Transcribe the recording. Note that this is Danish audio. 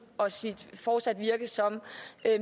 og sit fortsatte virke som